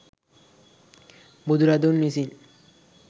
බුදු රදුන් විසින්